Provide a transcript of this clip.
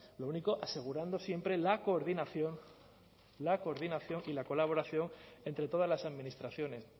lo único asegurando siempre la coordinación la coordinación y la colaboración entre todas las administraciones